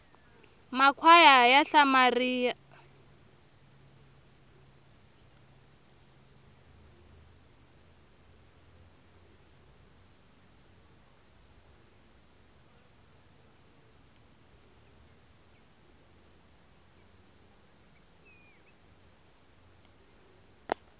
makhwaya ya hlamaria